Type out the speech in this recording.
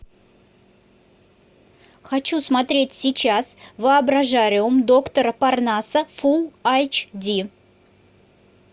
хочу смотреть сейчас воображариум доктора парнаса фулл айч ди